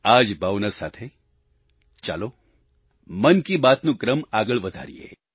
આ જ ભાવના સાથે ચલો મન કી બાતનો ક્રમ આગળ વધારીયે